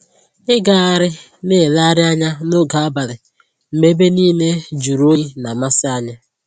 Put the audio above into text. Ịgagharị na elegharị anya n'oge abalị mgbe ebe niile jụrụ oyi na-amasị anyị